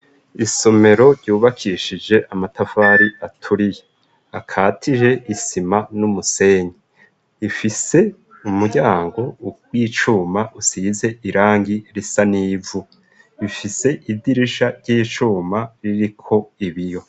Isomero ryubakishije amatavari aturiye akatije isima n'umusenyi ifise umuryango w'icuma usize irangi risa n'ivu ifise idirisha ry'icuma ririko ibiyo.